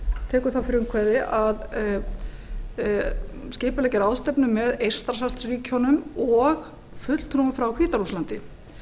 tekur það frumkvæði að skipuleggja ráðstefnu með eystrasaltsríkjunum og fulltrúum frá hvíta rússlandi